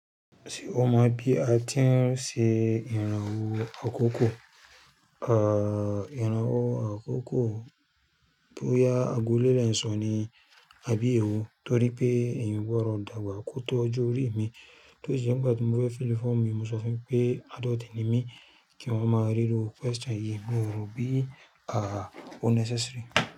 Ṣé o mọ̀ bí a ti ń ṣe ìrànwọ́ àkókò? Ehh, ìrànwọ́ àkókò bóyá ago ló dé ń sọ ni, àbí èwo? Torí pé ẹ̀yan ò gbọ́dọ̀ dàgbà kó tó ọjọ́ orí mi. Torí e nígbà tí mo fẹ́ fill form yìí, mo sọ fún yín pé adult ni mí, kí wọ́n máa rí irú question yìí, moo rò bí, àáàá o necessary.